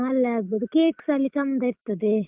ಹ ಅಲ್ಲೇ ಆಗ್ಬೋದು, cake ಸ ಅಲ್ಲಿ ಚಂದ ಇರ್ತದೆ.